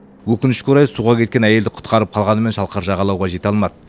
өкінішке орай суға кеткен әйелді құтқарып қалғанымен шалқар жағалауға жете алмады